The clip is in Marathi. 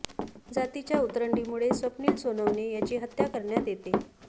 जातीच्या उतरंडीमुळे स्वप्नील सोनावणे याची हत्या करण्यात येते